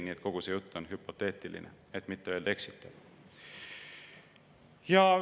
Nii et kogu see jutt on hüpoteetiline, et mitte öelda eksitav.